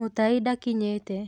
Mutai ndakinyĩte.